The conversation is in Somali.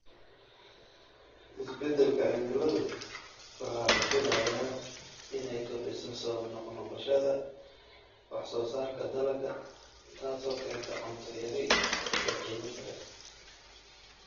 Isbeddelka cimiladu waxa la filayaa inay kordhiso soo noq-noqoshada wax-soo-saarka dalagga, taasoo keenta cunto yari iyo qiimo sare.